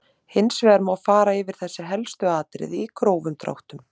Hins vegar má fara yfir þessi helstu atriði í grófum dráttum.